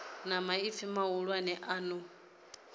na maipfi mahulwane a no